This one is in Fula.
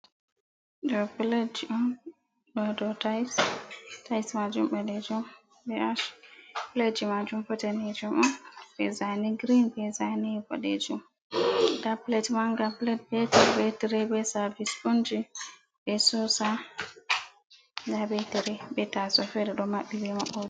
Ɗo plat ji on ɗo do tais, tais majum badejum be plat ji majum bo danejum on bezani grin, ɓe zane boɗejum nda plat manga plat beter betre be servis punji be sosa ga betere betaso fede do maɓɓi bima.